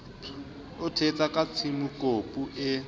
o ithetsa ka tsiemokopu e